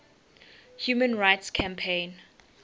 human rights campaign